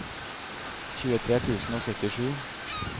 tjuetre tusen og syttisju